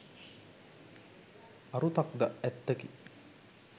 අරුතක් ද ඇත්තකි.